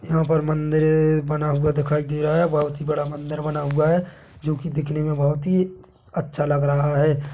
यहाँ पर मंदिर बना हुआ दिखाई दे रहा हैं बोहत ही बड़ा मंदिर बना हुआ हैं जो कि दिखने में बहोत ही अच्छा लग रहा हैं।